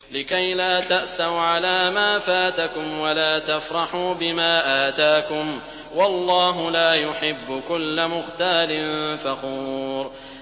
لِّكَيْلَا تَأْسَوْا عَلَىٰ مَا فَاتَكُمْ وَلَا تَفْرَحُوا بِمَا آتَاكُمْ ۗ وَاللَّهُ لَا يُحِبُّ كُلَّ مُخْتَالٍ فَخُورٍ